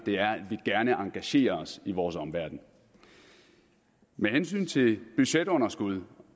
er at vi gerne engagerer os i vores omverden med hensyn til budgetunderskud